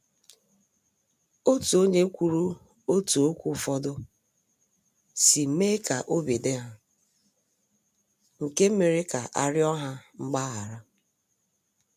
Otu onye kwuru otú okwu ụfọdụ si mee ka obi dị ha, nke mere ka a riọ ha mgbaghara.